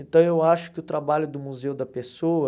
Então eu acho que o trabalho do museu da pessoa...